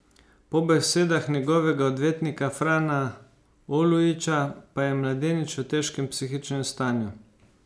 Po besedah njegovega odvetnika Frana Olujića pa je mladenič v težkem psihičnem stanju.